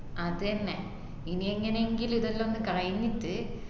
അത് എന്നെ ഇനി എങ്ങനെ എങ്കിലും ഇതെല്ലൊന്നു കയിഞ്ഞിട്ട്